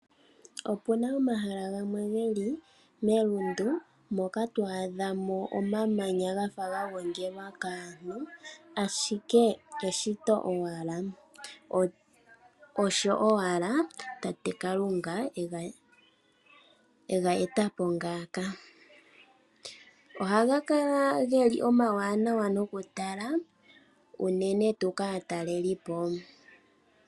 Opuna omahala gamwe geli melundu moka twaadha mo omamanya gafa gagongelwa kaantu, ashike eshito owala, osho owala Tate Kalunga ega shita ngawo. Ohaga kala omawanawa okutala unene tuu kaatalelipo.